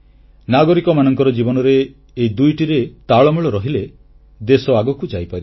ନାଗରିକମାନଙ୍କ ଜୀବନରେ ଏହି ଦୁଇଟିରେ ତାଳମେଳ ରହିଲେ ଦେଶ ଆଗକୁ ଯାଇପାରିବ